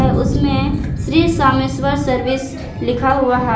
उसमें श्री सोमेश्वर सर्विस लिखा हुआ है।